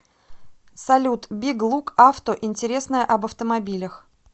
салют биг лук авто интересное об автомобилях